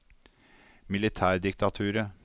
militærdiktaturet